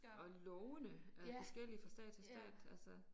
Og lovene er forskellige fra stat til stat altså